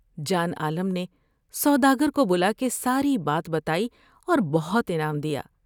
جان عالم نے سودا گر کو بلا کے ساری بات بتائی اور بہت انعام دیا ۔